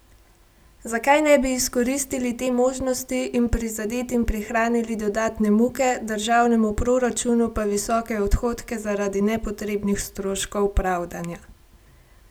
Zakaj ne bi izkoristili te možnosti in prizadetim prihranili dodatne muke, državnemu proračunu pa visoke odhodke zaradi nepotrebnih stroškov pravdanja?